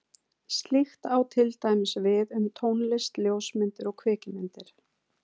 Slíkt á til dæmis við um tónlist, ljósmyndir og kvikmyndir.